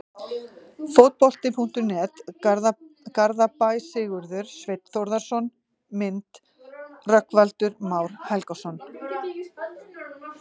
Fótbolti.net, Garðabæ- Sigurður Sveinn Þórðarson Mynd: Rögnvaldur Már Helgason